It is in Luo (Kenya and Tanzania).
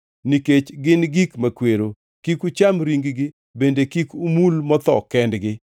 Nikech gin gik makwero, kik ucham ring-gi bende kik umul motho kendgi.